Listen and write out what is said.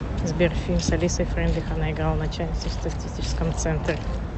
сбер фильм с алисой фрейндлих она играла начальницу в статистическом центре